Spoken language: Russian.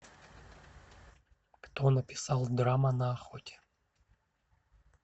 кто написал драма на охоте